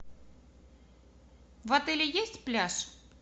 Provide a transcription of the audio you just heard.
в отеле есть пляж